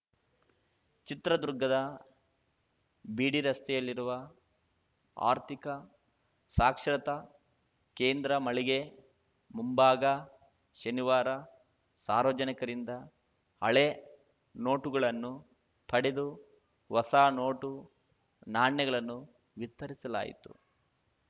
ಚಿತ್ರದುರ್ಗದ ಬಿಡಿರಸ್ತೆಯಲ್ಲಿರುವ ಆರ್ಥಿಕ ಸಾಕ್ಷರತಾ ಕೇಂದ್ರ ಮಳಿಗೆ ಮುಂಭಾಗ ಶನಿವಾರ ಸಾರ್ವಜನಿಕರಿಂದ ಹಳೆ ನೋಟುಗಳನ್ನು ಪಡೆದು ಹೊಸ ನೋಟು ನಾಣ್ಯಗಳನ್ನು ವಿತರಿಸಲಾಯಿತು